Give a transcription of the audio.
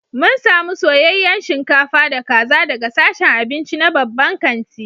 mun samu soyayyen shinkafa da kaza daga sashen abinci na babban kanti